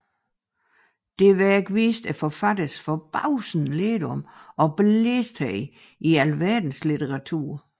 Dette Værk viste forfatterens forbavsende lærdom og belæsthed i alverdens litteraturer